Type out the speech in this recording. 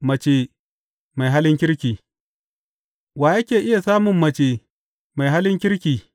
Mace Mai Halin Kirki Wa yake iya samun mace mai halin kirki?